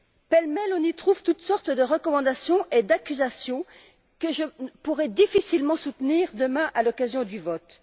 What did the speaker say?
Pêle mêle, on y trouve toutes sortes de recommandations et d'accusations que je pourrai difficilement soutenir demain à l'occasion du vote.